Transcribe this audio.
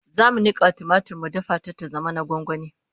zamu Nika tumatir mu dafa ta ta zama na gwangwani